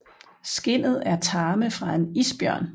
Skindet er tarme fra en isbjørn